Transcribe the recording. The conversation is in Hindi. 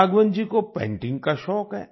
राघवन जी को पेंटिंग का शौक है